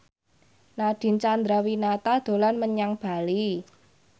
Nadine Chandrawinata dolan menyang Bali